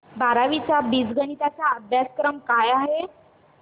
बारावी चा बीजगणिता चा अभ्यासक्रम काय आहे